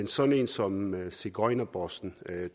sådan en som sigøjnerbossen